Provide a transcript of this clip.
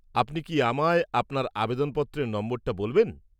আপনি কি আমায় আপনার আবেদনপত্রের নম্বরটা বলবেন?